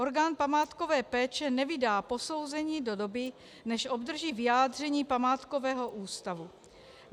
Orgán památkové péče nevydá posouzení do doby, než obdrží vyjádření Památkového ústavu.